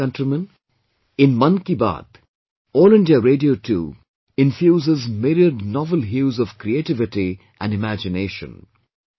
My dear countrymen, in 'Mann Ki Baat', All India Radio too infuses myriad novel hues of creativity and imagination